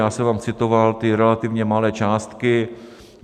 Já jsem vám citoval ty relativně malé částky.